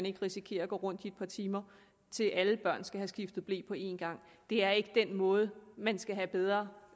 ikke risikere at gå rundt i et par timer til alle børn skal have skiftet ble på en gang det er ikke den måde man skal have bedre